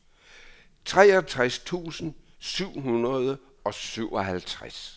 treogtres tusind syv hundrede og syvoghalvtreds